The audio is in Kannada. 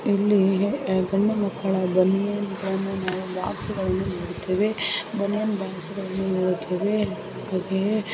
ಇಲ್ಲಿ ಗಂಡು ಮಕ್ಕಳ ಬನೀನು ಬಾಕ್ಸ್ ಗಳು ಇರುತ್ತವೆ ನೋಡುತ್ತೇವೆ ಚಡಿಯ ಬಾಕ್ಸ್ ಗಳನ್ನು ಸಹ ನೋಡುತ್ತೇವೆ ಮತ್ತು ಇಲ್ಲಿ ಎಲ್ಲಾ ತರಹದ ವಸ್ತುಗಳು ಬಟ್ಟೆಗಳು ನೋಡುತ್ತೇವೆ